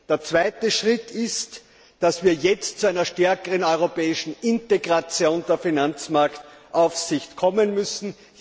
Der zweite Schritt ist, dass wir jetzt zu einer stärkeren europäischen Integration der Finanzmarktaufsicht kommen müssen.